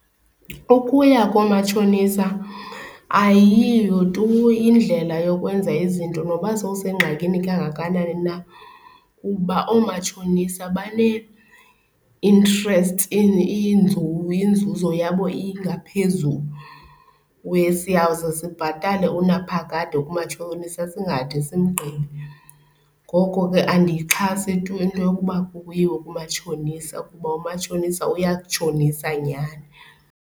Ukuya koomatshonisa ayiyo tu indlela yokwenza izinto noba sewusengozini kangakanani na kuba oomatshonisa banee-interest inzuzo yabo ingaphezulu. Uye siyawuze sibhatale unaphakade kumatshonisa singade simgqibe, ngoko ke andiyixhasi tu into yokuba kuyiwe kumatshonisa kuba umatshonisa uyakutshonisa nyhani.